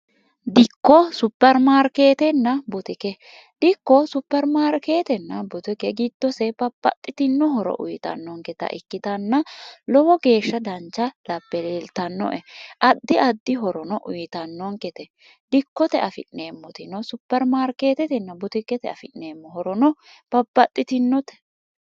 dikko supermaarkeetenna butike dikko supermaarkeetenna butike gitdosee baphaxxitinohoro uyitannonketa ikkitanna lowo geeshsha dancha lapeleeltannoe addi addi horono uyitannonkete dikkote afi'neemmotino supermaarkeetetenna butikkete afi'neemmo horono baphaxxitinote